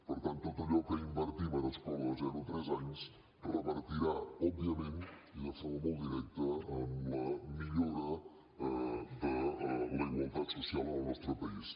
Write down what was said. per tant tot allò que invertim en escola de zero a tres anys revertirà òbviament i de forma molt directa en la millora de la igualtat social en el nostre país